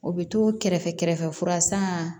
O bɛ to kɛrɛfɛ kɛrɛfɛ kura san